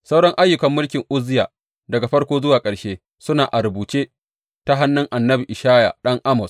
Sauran ayyukan mulkin Uzziya daga farko zuwa ƙarshe, suna a rubuce ta hannun annabi Ishaya ɗan Amoz.